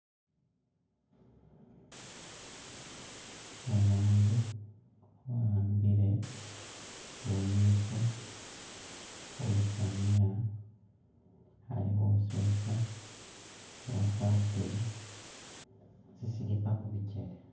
Umundu wa'ambile bumitso khu lusaniya ali khusesa wakwarire tsi sleeper mubikyele.